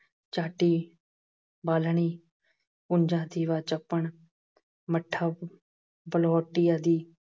ਚਾਟੀ, ਬਾਲਣੀ, ਪੁੰਜਾ, ਦੀਵਾ, ਚਪਣ, ਮੱਠਾ, ਬਲਬੋਟੀ ਆਦਿ।